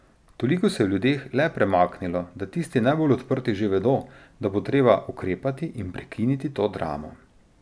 Toliko se je v ljudeh le premaknilo, da tisti najbolj odprti že vedo, da bo treba ukrepati in prekiniti to dramo.